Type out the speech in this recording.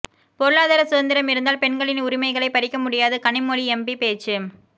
பொருளாதார சுதந்திரம் இருந்தால் பெண்களின் உரிமைகளை பறிக்க முடியாது கனிமொழி எம்பி பேச்சு